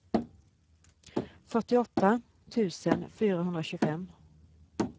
fyrtioåtta tusen fyrahundratjugofem